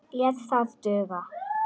Lét það duga.